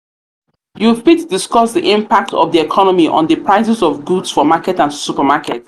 you fit discuss di impact of di economy on di prices of goods for market and supermarket.